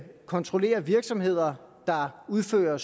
kontrollere virksomheder der udfører